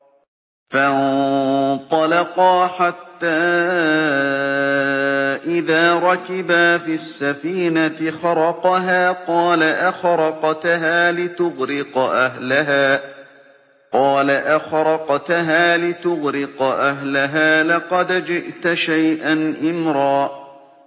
فَانطَلَقَا حَتَّىٰ إِذَا رَكِبَا فِي السَّفِينَةِ خَرَقَهَا ۖ قَالَ أَخَرَقْتَهَا لِتُغْرِقَ أَهْلَهَا لَقَدْ جِئْتَ شَيْئًا إِمْرًا